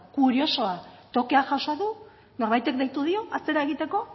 kuriosoa tokea jaso du norbaitek deitu dio atzera egiteko